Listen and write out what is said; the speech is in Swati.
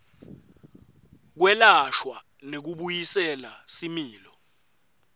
kwelashwa nekubuyisela similo